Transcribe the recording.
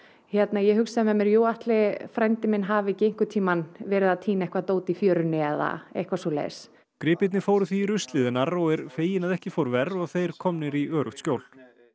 ég hugsa með mér að ætli frændi minn hafi ekki einhvern tíma verið að týna eitthvað dót í fjörunni eða eitthvað svoleiðis gripirnir fóru því í ruslið en Arró er feginn að ekki fór verr og þeir komnir í öruggt skjól